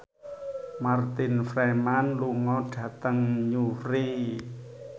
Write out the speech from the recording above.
Martin Freeman lunga dhateng Newry